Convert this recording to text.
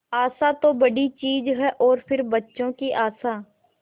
आशा तो बड़ी चीज है और फिर बच्चों की आशा